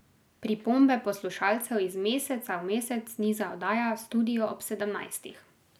Pripombe poslušalcev iz meseca v mesec niza oddaja Studio ob sedemnajstih.